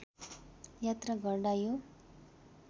यात्रा गर्दा यो